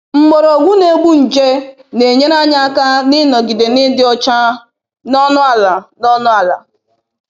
Mgbọrọgwụ na-egbu nje na-enyere anyị aka n'ịnogide n'ịdị ọcha n'ọnụ ala. n'ọnụ ala.